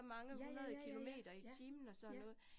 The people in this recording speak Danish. Ja ja ja ja, ja, ja